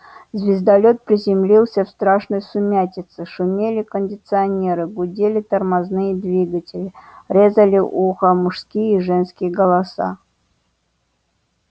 звездолёт приземлился в страшной сумятице шумели кондиционеры гудели тормозные двигатели резали ухо мужские и женские голоса